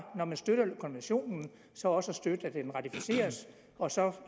når man støtter konventionen så også at støtte at den ratificeres og så